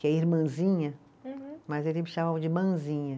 que é irmãzinha, mas eles me chamavam de Manzinha.